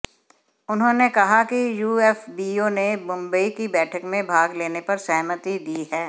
उन्होंने कहा कि यूएफबीयू ने मुंबई की बैठक में भाग लेने पर सहमति दी है